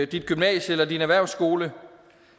dit gymnasie eller din erhvervsskole